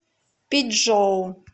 пичжоу